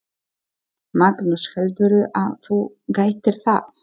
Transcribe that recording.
Magnús: Heldurðu að þú gætir það?